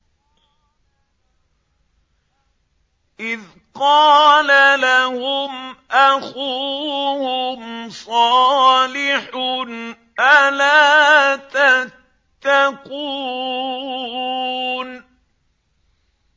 إِذْ قَالَ لَهُمْ أَخُوهُمْ صَالِحٌ أَلَا تَتَّقُونَ